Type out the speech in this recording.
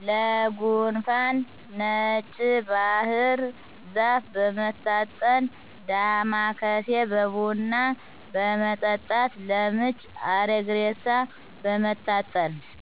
ለጉንፋን ነጭ ባህር ዛፍ በመታጠን ዳማከሴ በቡና በመጠጣት ለምች አረግሬሳ በመታጠን